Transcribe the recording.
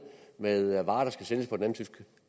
med varer der skal sælges